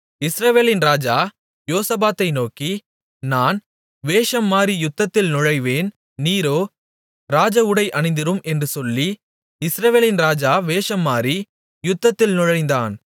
இஸ்ரவேலின் ராஜா யோசபாத்தை நோக்கி நான் வேஷம்மாறி யுத்தத்தில் நுழைவேன் நீரோ ராஜஉடை அணிந்திரும் என்று சொல்லி இஸ்ரவேலின் ராஜா வேஷம்மாறி யுத்தத்தில் நுழைந்தான்